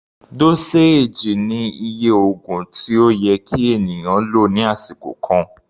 Dóséèjì ni iye oògùn tí ó yẹ kí ènìyàn lò ní àsìkò kan.